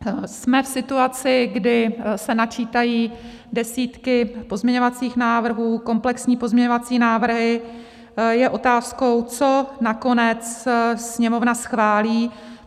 Jsme v situaci, kdy se načítají desítky pozměňovacích návrhů, komplexní pozměňovací návrhy, je otázkou, co nakonec Sněmovna schválí.